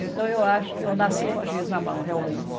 Então eu acho que eu nasci com a giz na mão, realmente.